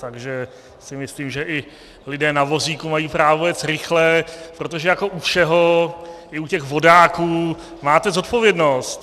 Takže si myslím, že i lidé na vozíku mají právo jet rychle, protože jako u všeho, i u těch vodáků - máte zodpovědnost.